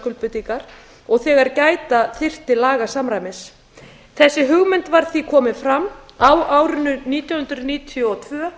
skuldbindingar og þegar gæta þyrfti lagasamræmis þessi hugmynd var því komin fram á árinu nítján hundruð níutíu og tvö